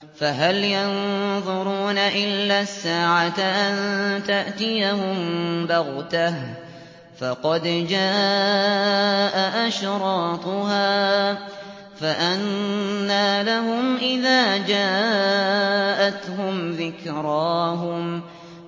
فَهَلْ يَنظُرُونَ إِلَّا السَّاعَةَ أَن تَأْتِيَهُم بَغْتَةً ۖ فَقَدْ جَاءَ أَشْرَاطُهَا ۚ فَأَنَّىٰ لَهُمْ إِذَا جَاءَتْهُمْ ذِكْرَاهُمْ